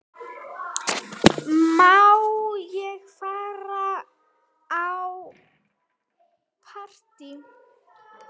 Má ég fara í partí?